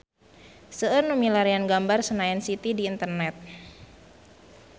Seueur nu milarian gambar Senayan City di internet